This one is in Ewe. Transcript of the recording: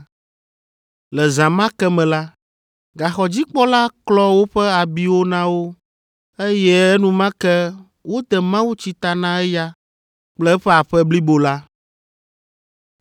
Le zã ma ke me la, gaxɔdzikpɔla klɔ woƒe abiwo na wo, eye enumake wode mawutsi ta na eya kple eƒe aƒe blibo la.